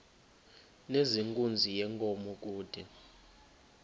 nezenkunzi yenkomo kude